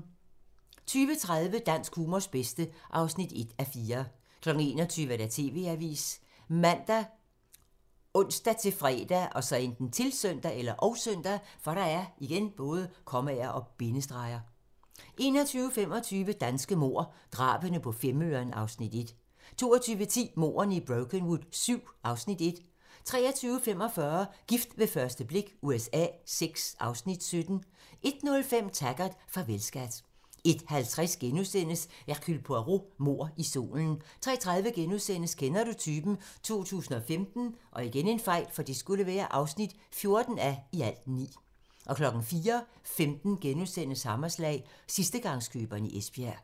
20:30: Dansk humors bedste (1:4) 21:00: TV-avisen ( man, ons-fre, -søn) 21:25: Danske mord - Drabene på Femøren (Afs. 1) 22:10: Mordene i Brokenwood VII (Afs. 1) 23:45: Gift ved første blik USA VI (Afs. 17) 01:05: Taggart: Farvel, skat 01:50: Hercule Poirot: Mord i solen * 03:30: Kender du typen? 2015 (14:9)* 04:15: Hammerslag - sidstegangskøberen i Esbjerg *